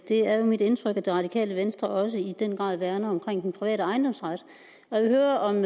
det er jo mit indtryk at det radikale venstre også i den grad værner om den private ejendomsret og jeg vil høre om